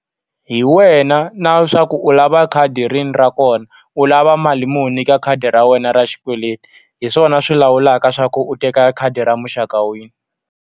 Hi wena na leswaku u lava khadi rini ra kona, u lava mali muni ka khadi ra wena ra xikweleti. Hi swona swi lawulaka leswaku u teka khadi ra muxaka wini.